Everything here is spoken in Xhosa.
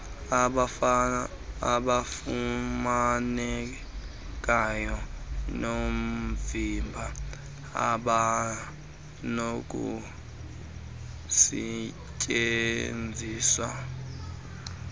abafumanekayo noovimba abanokustyenziswa